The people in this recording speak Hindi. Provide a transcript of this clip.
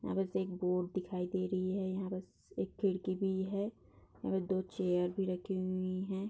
वहां बस एक बोर्ड दिखाई दे रही है। यहाँ बस एक खिड़की भी है। वह दो चेयर भी रखी हुई है।